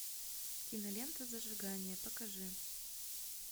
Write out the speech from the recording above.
кинолента зажигание покажи